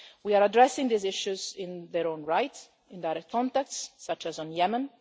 We are addressing these issues in their own right, in direct contacts such as on